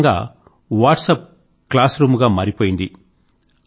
ఒకరకంగా WhatsApp class room గా మారిపోయింది